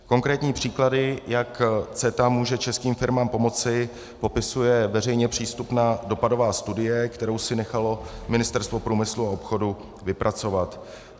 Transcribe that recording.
Konkrétní příklady, jak CETA může českým firmám pomoci, popisuje veřejně přístupná dopadová studie, kterou si nechalo Ministerstvo průmyslu a obchodu vypracovat.